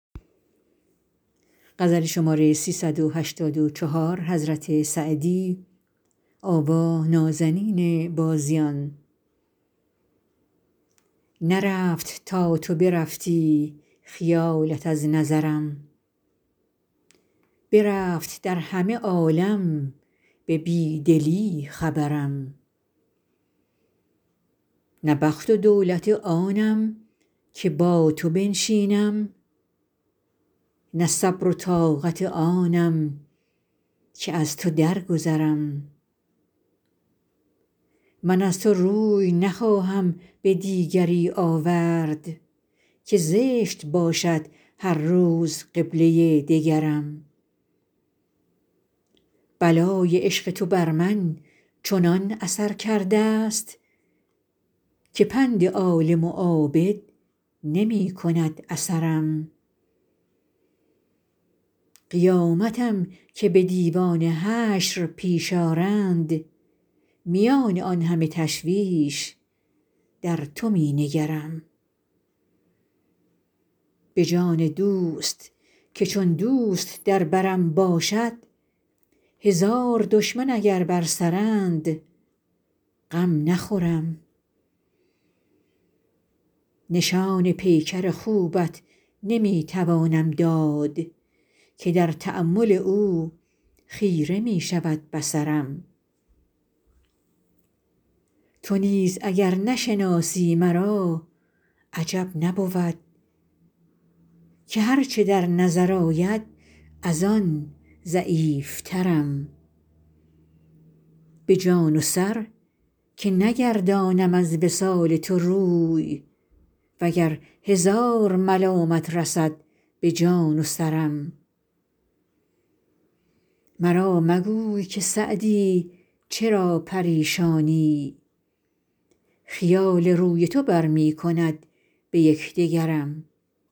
نرفت تا تو برفتی خیالت از نظرم برفت در همه عالم به بی دلی خبرم نه بخت و دولت آنم که با تو بنشینم نه صبر و طاقت آنم که از تو درگذرم من از تو روی نخواهم به دیگری آورد که زشت باشد هر روز قبله دگرم بلای عشق تو بر من چنان اثر کرده ست که پند عالم و عابد نمی کند اثرم قیامتم که به دیوان حشر پیش آرند میان آن همه تشویش در تو می نگرم به جان دوست که چون دوست در برم باشد هزار دشمن اگر بر سرند غم نخورم نشان پیکر خوبت نمی توانم داد که در تأمل او خیره می شود بصرم تو نیز اگر نشناسی مرا عجب نبود که هر چه در نظر آید از آن ضعیفترم به جان و سر که نگردانم از وصال تو روی و گر هزار ملامت رسد به جان و سرم مرا مگوی که سعدی چرا پریشانی خیال روی تو بر می کند به یک دگرم